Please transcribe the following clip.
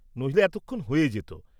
নইলে এতক্ষণ হয়ে যেত।